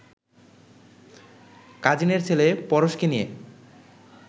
কাজিনের ছেলে পরশকে নিয়ে